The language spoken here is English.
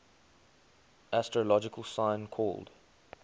astrological sign called